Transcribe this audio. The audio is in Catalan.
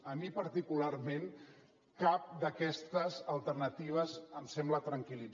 a mi particularment cap d’aquestes alternatives em sembla tranquil·